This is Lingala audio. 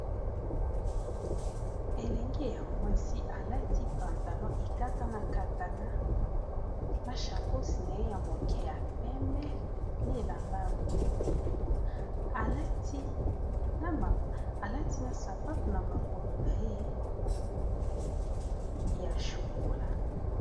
Elenge ya mwasi alati pantalon ekatana katana na chacos na ye ya moke ya pembe na elamba ya moyindo alati na sapato na makolo na ye ya chokola.